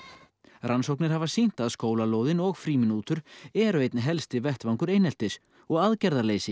rannsóknir hafa sýnt að skólalóðin og frímínútur eru einn helsti vettvangur eineltis og aðgerðarleysi